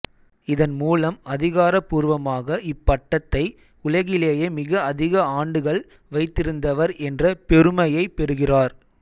இதன் மூலம் அதிகாரபூர்வமாக இப்பட்டதை உலகிலேயே மிக அதிக ஆண்டுகள் வைத்திருந்தவர் என்ற பெருமையை பெறுகிறார்